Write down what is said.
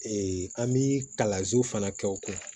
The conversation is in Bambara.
an bɛ kalanso fana kɛ o kun